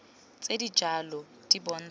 tse di jalo di bontsha